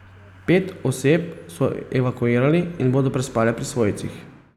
Pet oseb so evakuirali in bodo prespale pri svojcih.